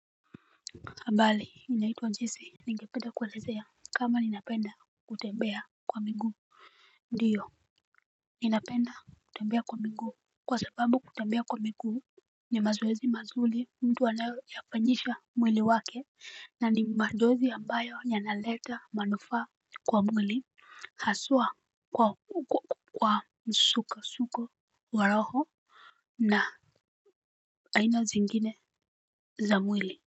Habari? Mimi naitwa Jisi, ningependa kuwa elezea, kama ninapenda kutembea kwa miguu. Ndio, ninapenda kutembea kwa miguu. Kwa sababu kutembea kwa miguu ni mazoezi mazuri mtu anayoyafanyisha mwili wake na ni mazoezi ambayo yanaleta manufaa kwa mwili. Hasua kwa msukosuko wa roho na aina zingine za mwili.